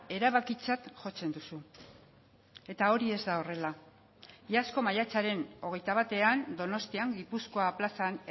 erabakitzat jotzen duzu eta hori ez da horrela iazko maiatzaren hogeita batean donostian gipuzkoa plazan